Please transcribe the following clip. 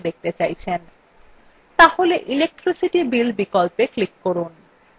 তাহলে electricity bill বিকল্পে click করুন